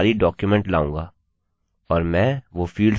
और मैं वो फील्ड्स जो मैं चाहता हूँ टाइप करना शुरू करूँगा